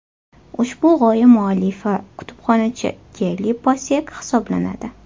Ushbu g‘oya muallifi kutubxonachi Kelli Passek hisoblanadi.